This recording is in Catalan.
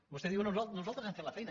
vostè diu no no nosaltres hem fet la feina